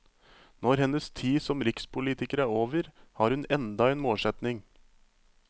Når hennes tid som rikspolitiker er over, har hun enda en målsetning.